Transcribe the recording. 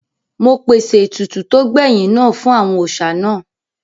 Mo pèsè ètùtù tó gbẹ̀yìn náà fún àwọn òòsà náà